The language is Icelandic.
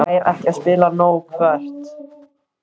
Fær ekki að spila nóg Hvert?